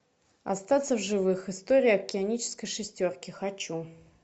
остаться в живых история океанической шестерки хочу